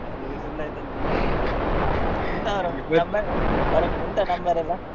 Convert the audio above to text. ಹೌದು ಈಗ ಸುಳ್ಳಾಯ್ತು ಅಂತೊಂದ್ ಹೇಳ್ಬೇಕು ಅವ್ರಿಗೆ ಅವ್ರ ಉಂಟ number ಎಲ್ಲ.